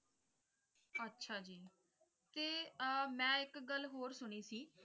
ਅੱਛਾ ਜੀ ਤੇ ਮੈਂ ਆਹ ਇੱਕ ਗੱਲ ਹੋਰ ਸੁਣੀ ਸੀ ।